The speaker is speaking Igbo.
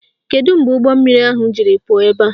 Kedu mgbe ụgbọmmiri ahụ jiri pụọ ebe a?